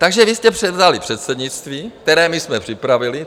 Takže vy jste převzali předsednictví, které my jsme připravili.